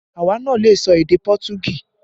Àwa náà lè sọ èdè Pọtugí